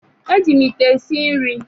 E ji Ite esi nri